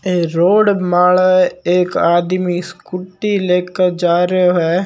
ए road माले एक आदमी स्कूटी लेकर जा रियो है।